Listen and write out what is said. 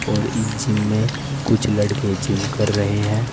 और इस जिम में कुछ लड़के जिम कर रहे है।